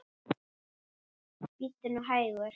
Bíddu nú hægur.